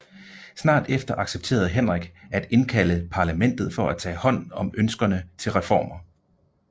Snart efter accepterede Henrik at indkalde parlamentet for at tage hånd om ønskerne til reformer